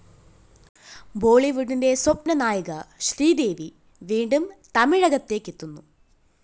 ബോളിവുഡിന്റെ സ്വപ്നനായിക ശ്രീദേവി വീണ്ടും തമിഴകത്തേയ്ക്കെത്തുന്നു